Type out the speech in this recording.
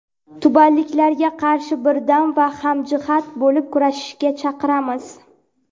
tubanliklarga qarshi birdam va hamjihat bo‘lib kurashishga chaqiramiz.